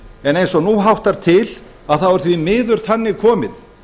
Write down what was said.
en eins og nú háttar til er því miður þannig komið